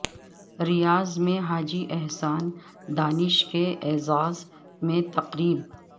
ریاض میں حاجی احسان دانش کے اعزاز میں تقریب